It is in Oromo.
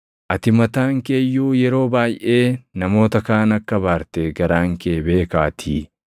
ati mataan kee iyyuu yeroo baayʼee namoota kaan akka abaarte garaan kee beekaatii.